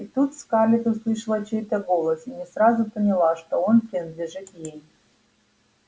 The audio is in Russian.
и тут скарлетт услышала чей-то голос и не сразу поняла что он принадлежит ей